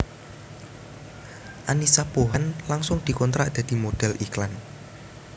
Annisa Pohan langsung dikontrak dadi modhél iklan